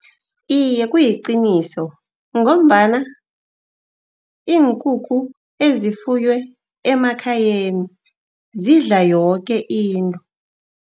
Iye, kuliqiniso ngombana iinkukhu ezifuywe emakhayeni zidla yoke into.